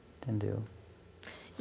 Entendeu?